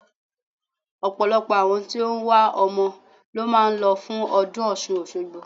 Ọ̀pọ̀lọpọ̀ àwọn tí ó wá ọmọ ló máa ń lọ fún ọdún Ọ̀ṣun Òṣogbo.